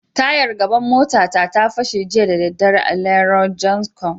Tayar gaban mota ta, ta fashe jiya da dare a Lero jancshon.